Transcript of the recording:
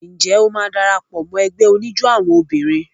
Ǹjẹ́ o máa dara pọ̀ mọ́ ẹgbẹ́ oníjó àwọn obìnrin?